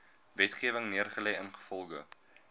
wetgewing neergelê ingevolge